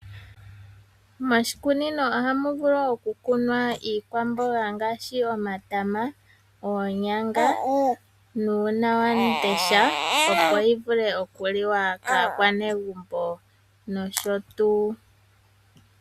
Moshikunino ohu vulu oku kunwa Iikwamboga ngaashi omatama, oonyanga nuunawamundesha opo yi vule okuliwa kaakwanegumbo nosho tuu.